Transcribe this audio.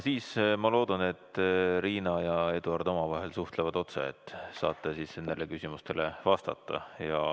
Sel juhul ma loodan, et Riina ja Eduard omavahel suhtlevad otse ja saab nendele küsimustele vastata.